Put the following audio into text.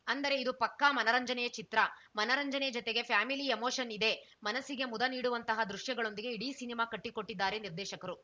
ಅಂದರೆ ಇದು ಪಕ್ಕಾ ಮನರಂಜನೆಯ ಚಿತ್ರ ಮನರಂಜನೆ ಜತೆಗೆ ಫ್ಯಾಮಿಲಿ ಎಮೋಷನ್‌ ಇದೆ ಮನಸ್ಸಿಗೆ ಮುದ ನೀಡುವಂತಹ ದೃಶ್ಯಗಳೊಂದಿಗೆ ಇಡೀ ಸಿನಿಮಾ ಕಟ್ಟಿಕೊಟ್ಟಿದ್ದಾರೆ ನಿರ್ದೇಶಕರು